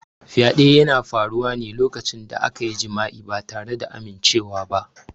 Fyaɗe yana faruwa ne lokacin da akayi jima'i ba tare da amimcewa ba.